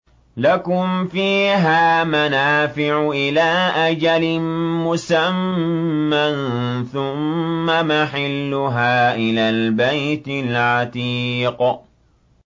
لَكُمْ فِيهَا مَنَافِعُ إِلَىٰ أَجَلٍ مُّسَمًّى ثُمَّ مَحِلُّهَا إِلَى الْبَيْتِ الْعَتِيقِ